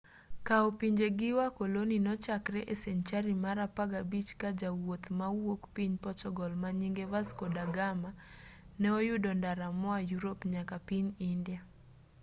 kao pinje gi wakoloni nochakre e senchari mar apagabich ka jawuoth mawuok piny portugal manyinge vasco da gama ne oyudo ndara moa yurop nyaka piny india